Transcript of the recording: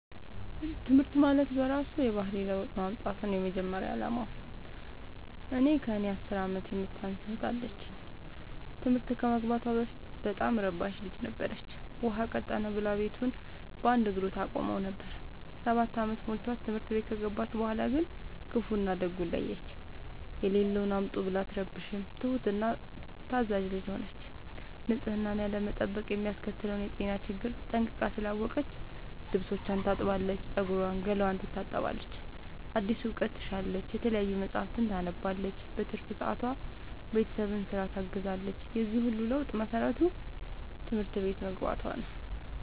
ትምህርት ማለት በእራሱ የባህሪ ለውጥ ማምጣት ነው የመጀመሪያ አላማው። እኔ ከእኔ አስር አመት የምታንስ እህት አለችኝ ትምህርት ከመግባቷ በፊት በጣም እረባሽ ልጅ ነበረች። ውሃ ቀጠነ ብላ ቤቱን በአንድ እግሩ ታቆመው ነበር። ሰባት አመት ሞልቶት ትምህርት ቤት ከገባች በኋላ ግን ክፋውን እና ደጉን ለየች። የሌለውን አምጡ ብላ አትረብሽም ትሁት እና ታዛዣ ልጅ ሆነች ንፅህናን ያለመጠበቅ የሚያስከትለውን የጤና ችግር ጠንቅቃ ስላወቀች ልብስቿን ታጥባለች ፀጉሯን ገላዋን ትታጠባለች አዲስ እውቀት ትሻለች የተለያዩ መፀሀፍትን ታነባለች በትርፍ ሰዓቷ ቤተሰብን ስራ ታግዛለች የዚህ ሁሉ ለውጥ መሰረቱ ትምህርት ቤት መግባቶ ነው።